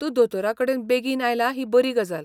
तूं दोतोराकडेन बेगीन आयला ही बरी गजाल.